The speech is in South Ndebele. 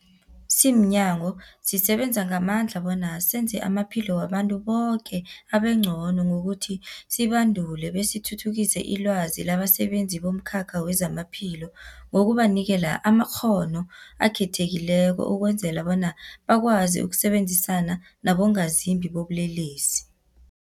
Simnyango, sisebenza ngamandla bona senze amaphilo wabantu boke abengcono ngokuthi sibandule besithuthukise ilwazi labasebenzi bomkhakha wezamaphilo ngokubanikela amakghono akhethekileko ukwenzela bona bakwazi ukusebenzisana nabongazimbi bobulelesi.